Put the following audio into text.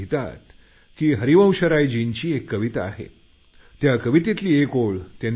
ते लिहितात हरिवंशरायजींची एक कविता त्यातील एक ओळ